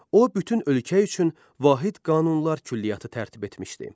O bütün ölkə üçün vahid qanunlar külliyyatı tərtib etmişdi.